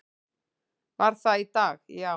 Var það í dag, já?